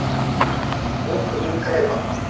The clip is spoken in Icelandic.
Löngunin greip hann.